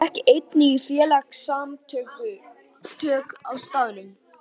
Ég gekk einnig í félagasamtök á staðnum.